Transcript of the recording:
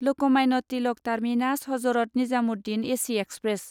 Lokmanya Tilak terminus Hazrat Nizamuddin AC express